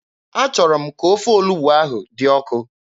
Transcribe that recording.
Achọrọ m ka ofe olugbu ahụ dị ọkụ.